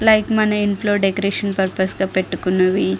like మన ఇంట్లో decoration purpose గా పెట్టుకున్నవి --